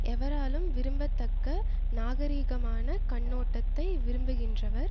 எவராலும் விரும்பத்தக்க நாகரிகமான கண்ணோட்டத்தை விரும்புகின்றவர்